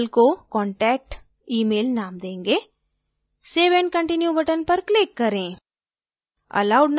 हम label को contact email name देंगे save and continue button पर click करें